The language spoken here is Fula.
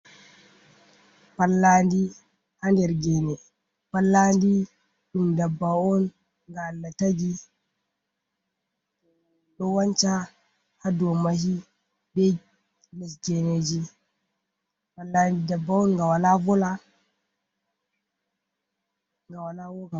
Pallandi haa nder gene. Pallandi ɗum dabba’on ga Allah taki dowanca haa dow mahi be les geneji. Pallandi ndabba on ga wala vola, ga woka.